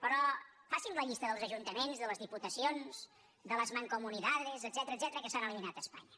però faci’m la llista dels ajuntaments de les diputacions de las mancomunidades etcètera que s’han eliminat a espanya